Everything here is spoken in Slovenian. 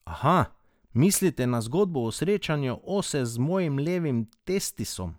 Aha, mislite na zgodbo o srečanju ose z mojim levim testisom.